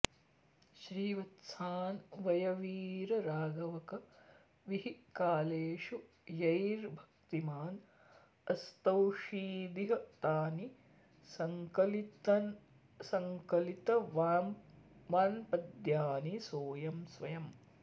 श्रीवत्सान्वयवीरराघवकविः कालेषु यैर्भक्तिमान् अस्तौषीदिह तानि सङ्कलितवान्पद्यानि सोऽयं स्वयम्